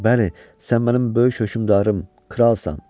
Bəli, sən mənim böyük hökmdarım, kralsan.